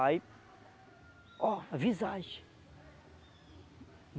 Aí, ó, a visagem.